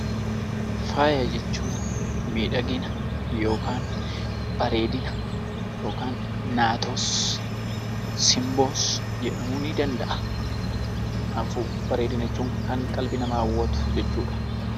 Faaya jechuun miidhagina yookaan bareedina yookaan naatoos, simboos jedhamuu ni danda'a. Kanaafuu bareedina jechuun kan qalbii namaa hawwatu jechuudha.